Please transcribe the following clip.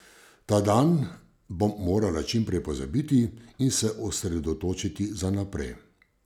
Ta dan bom morala čim prej pozabiti in se osredotočiti za naprej.